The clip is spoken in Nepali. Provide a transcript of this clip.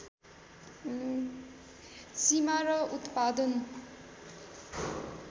सीमा र उत्पादन